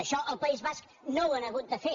això al país basc no ho han hagut de fer